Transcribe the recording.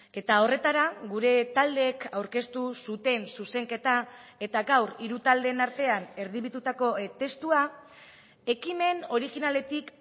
eta horretara gure taldeek aurkeztu zuten zuzenketa eta gaur hiru taldeen artean erdibitutako testua ekimen originaletik